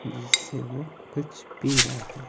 जिससे वो कुछ पी रहा हैं।